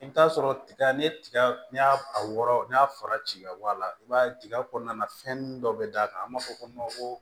I bɛ t'a sɔrɔ tiga n'i ye tiga n'i y'a a wɔrɔ n'a fara ci ka bɔ a la i b'a ye tiga kɔnɔna na fɛnnin dɔ bɛ d'a kan an b'a fɔ ko ko